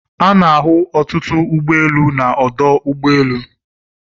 Ana-ahụ ọtụtụ ụgbọ elu na ọdụ ụgbọ elu